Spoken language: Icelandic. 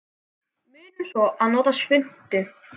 Munum svo að nota svuntu.